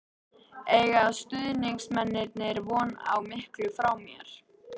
Eiga stuðningsmennirnir von á miklu frá mér?